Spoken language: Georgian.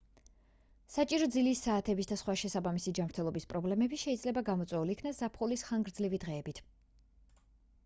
საჭირო ძილის საათების და სხვა შესაბამისი ჯანმრთელობის პრობლემები შეძლება გამოწვეულ იქნას ზაფხულის ხანგრძლივი დღეებით